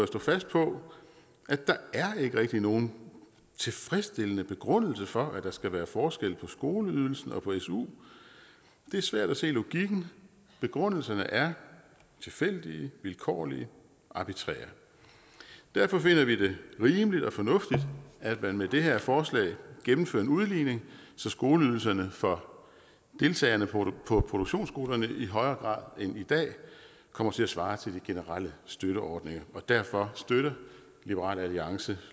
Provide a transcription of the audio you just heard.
stå fast på at der ikke rigtig er nogen tilfredsstillende begrundelse for at der skal være forskel på skoleydelsen og suen det er svært at se logikken og begrundelserne er tilfældige vilkårlige og arbitrære derfor finder vi det rimeligt og fornuftigt at man med det her forslag gennemfører en udligning så skoleydelserne for deltagerne på produktionsskolerne i højere grad end i dag kommer til at svare til de generelle støtteordninger derfor støtter liberal alliance